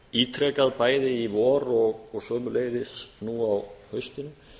ítrekað bæði í vor og einnig nú á haustinu